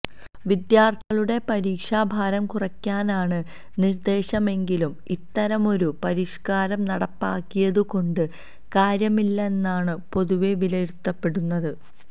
വിദ്യാര്ത്ഥികളുടെ പരീക്ഷഭാരം കുറയ്ക്കാനാണ് നിര്ദ്ദേശമെങ്കിലും ഇത്തരമൊരു പരിഷ്കാരം നടപ്പാക്കിയതു കൊണ്ട് കാര്യമില്ലെന്നാണ് പൊതുവെ വിലയിരുത്തപ്പെടുന്നത്